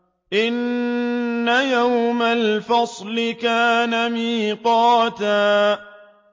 إِنَّ يَوْمَ الْفَصْلِ كَانَ مِيقَاتًا